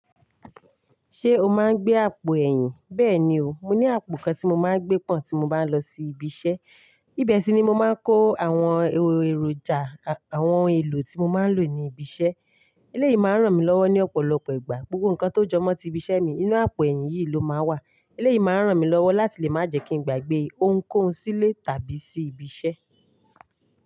Ṣé o máa ń gbé àpò ẹ̀yìn? Bẹ́ẹ̀ni o, mo ní àpò kan tí mo máa ń gbé pọ́n tí mo bá lọ sí ibi iṣẹ́. Ibẹ̀ sì ni mo máa ń kó àwọn èròjà, àwọn ohun èlò tí mo máa ń lò ní ibi iṣẹ́. Eléyìí máa ń ràn mí lọ́wọ́ ní ọ̀pọ̀lọpọ̀ ìgbà. Gbogbo nǹkan tó jọ mọ́ tí ibi iṣẹ́ mi nínú àpò ẹ̀yìn yìí ló máa wà. Eléyìí máa ń ràn mí lọ́wọ́ láti lè má jẹ kí n gba gbé ohun kó hun sílé tàbí sí ibi iṣẹ́.